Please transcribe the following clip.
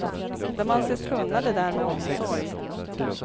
De anses kunna det där med omsorg.